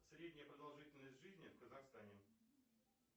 средняя продолжительность жизни в казахстане